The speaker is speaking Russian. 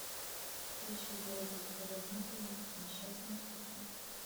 включи в городе лжедмитрове несчастный случай